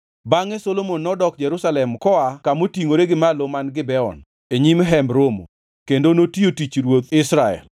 Bangʼe Solomon nodok Jerusalem koa kamotingʼore gi malo man Gibeon, e nyim Hemb Romo. Kendo notiyo tich ruoth Israel.